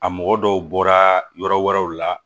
A mɔgɔ dɔw bɔra yɔrɔ wɛrɛw la